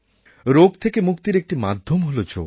রোগ থেকে মুক্তির একটি মাধ্যম হল যোগ